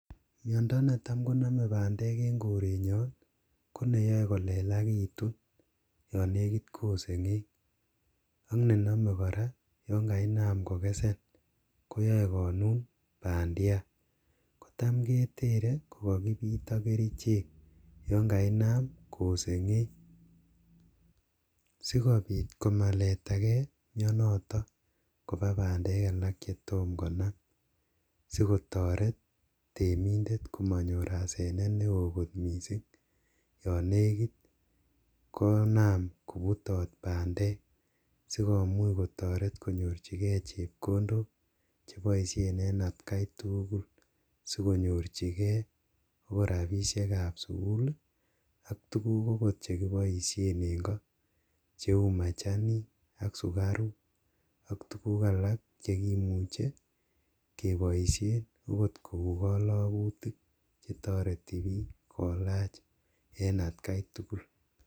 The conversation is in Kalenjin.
Miondo netam koname bandek eng korenyon ko neyae kolelagitun yon negit kosengeng ak ne name kora yon kainam kogesen koyae konun bandiat. Kotam ketere kogagipit ak kerichek yon kainam kosengeng. Sigopit komaletage mionotok kopa bandek che tom konam, sikotaret temindet komanyor asenet neo kot mising yon negit konam kobutot bandek sigomuch kotoret konyorchige chepkondok che boisien eng atkai tugul sigonyorchigei ogot rapisiekab sugul ak tuguk ogot chegoboisien en ko cheu machanik ak sugaruk ak tuguk alak che imuche keboisien ogot kou kalagutik che toreti biik kolach en atkai tugul.